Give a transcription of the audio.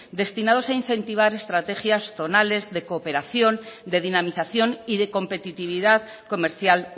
destinados a incentivar estrategias zonales de cooperación de dinamización y de competitividad comercial